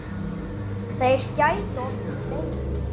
Þeir gætu orðið fleiri.